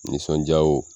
Nisɔndiyaw